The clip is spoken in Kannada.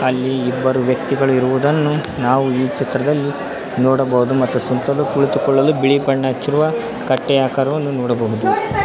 ಅಲ್ಲಿ ಇಬ್ಬರು ವ್ಯಕ್ತಿಗಳು ಇರುವುದನ್ನು ನಾವು ಈ ಚಿತ್ರದಲ್ಲಿ ನೋಡಬಹುದು ಮತ್ತು ಸುತ್ತಲೂ ಕುಳಿತುಕೊಳ್ಳಲು ಬಿಳಿ ಬಣ್ಣ ಹಚ್ಚಿರುವ ಕಟ್ಟೆ ಆಕಾರವನ್ನು ನೋಡಬಹುದು.